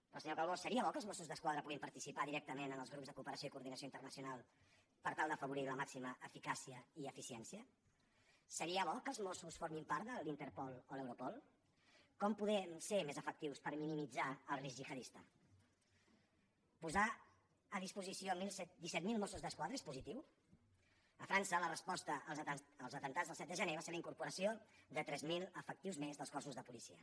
però senyor calbó seria bo que els mossos d’esquadra puguin participar directament en els grups de cooperació i coordinació internacional per tal d’afavorir la màxima eficàcia i eficiència seria bo que els mossos formessin part de la interpol o l’europol com podem ser més efectius per minimitzar el risc gihadista posar a disposició disset mil mossos d’esquadra és positiu a frança la resposta als atemptats del set de gener va ser la incorporació de tres mil efectius més als cossos de policia